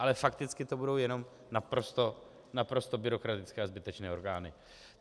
Ale fakticky to budou jenom naprosto byrokratické a zbytečné orgány.